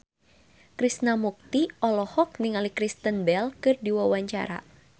Krishna Mukti olohok ningali Kristen Bell keur diwawancara